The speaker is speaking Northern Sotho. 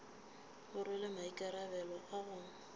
o rwele maikarabelo a go